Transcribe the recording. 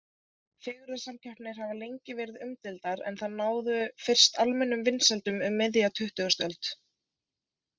Fegurðarsamkeppnir hafa lengi verið umdeildar en þær náðu fyrst almennum vinsældum um miðja tuttugustu öld.